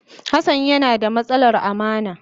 Hassan yana da matsalar amana.